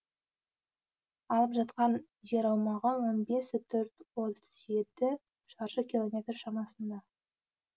алып жатқан жер аумағы он бес бүтін отыз жеті шаршы километр шамасында